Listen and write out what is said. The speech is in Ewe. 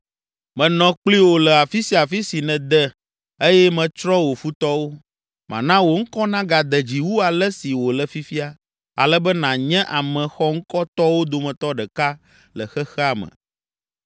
menɔ kpli wò le afi sia afi si nède eye metsrɔ̃ wò futɔwo. Mana wò ŋkɔ nagade dzi wu ale si wòle fifia ale be nànye ame xɔŋkɔtɔwo dometɔ ɖeka le xexea me.